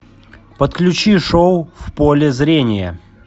подключи шоу в поле зрения